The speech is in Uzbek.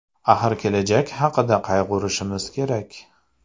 Axir kelajak haqida qayg‘urishimiz kerak.